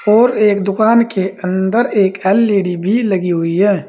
और एक दुकान के अंदर एक एल_ई_डी भी लगी हुई है।